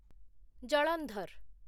Jalandhar